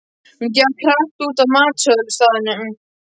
Hún gekk hratt út af matsölustaðnum.